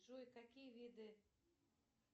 джой какие виды